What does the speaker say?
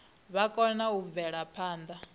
vha kone u bvela phanda